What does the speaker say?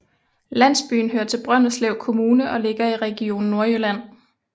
Landsbyen hører til Brønderslev Kommune og ligger i Region Nordjylland